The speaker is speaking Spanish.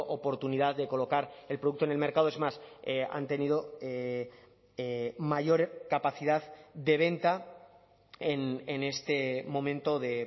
oportunidad de colocar el producto en el mercado es más han tenido mayor capacidad de venta en este momento de